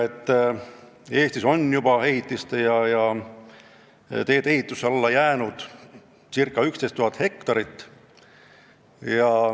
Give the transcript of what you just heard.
Eestis on ehitiste ja teedeehituse alla jäänud juba circa 11 000 hektarit.